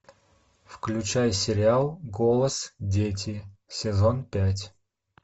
включай сериал голос дети сезон пять